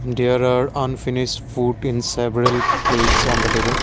there are unfinish food in several plates on the table.